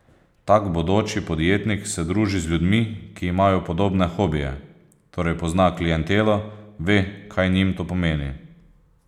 Tak bodoči podjetnik se druži z ljudmi, ki imajo podobne hobije, torej pozna klientelo, ve, kaj njim to pomeni.